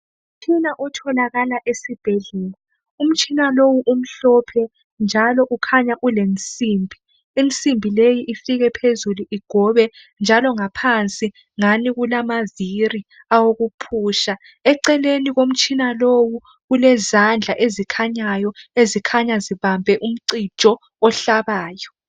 Umtshina otholakala esibhedlela umtshina lowu umhlophe njalo ukhanya ulensimbi insimbi leyi ifike phezulu igobe njalo ngaphansi ngani kulamavili awokufuqa eceleni komtshina lowu kulezandla ezikhanyayo ezikhanya zibambe umcijo ohlabayo.